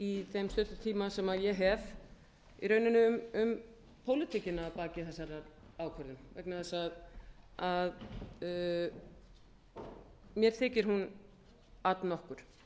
í þeim stutta tíma sem ég hef í rauninni um pólitíkina að baki þessari ákvörðun vegna þess að mér þykir hún all nokkur